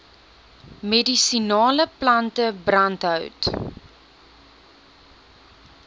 medisinale plante brandhout